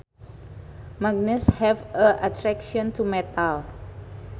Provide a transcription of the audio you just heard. Magnets have an attraction to metal